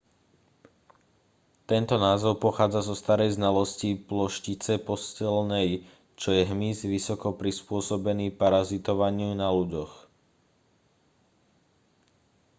tento názov pochádza zo starej znalosti ploštice posteľnej čo je hmyz vysoko prispôsobený parazitovaniu na ľuďoch